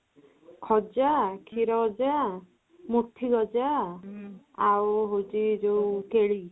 ଖଜା ଖିରଖଜା, ମୁଠିଗଜା ଆଉ ହଉଚି ଯୋଉ କେଳି